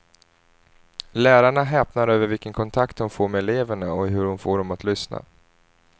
Lärarna häpnar över vilken kontakt hon får med eleverna och hur hon får dem att lyssna.